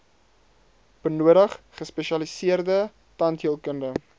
benodig gespesialiseerde tandheelkunde